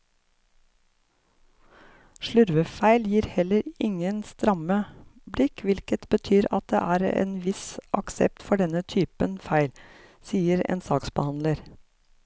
Slurvefeil gir heller ingen stramme blikk, hvilket betyr at det er en viss aksept for denne typen feil, sier en saksbehandler.